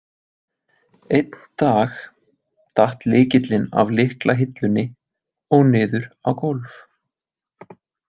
Einn dag datt lykillinn af lyklahillunni og niður á gólf.